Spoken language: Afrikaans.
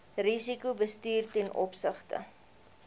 risikobestuur ten opsigte